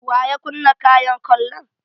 Waya kunna kayan kallon?